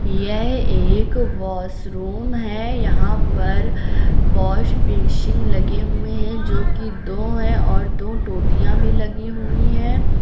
यह एक वॉशरूम है यहां पर वॉश बेसिन लगे हुए हैं जो कि दो हैं और दो टोटियां भी लगी हुई हैं।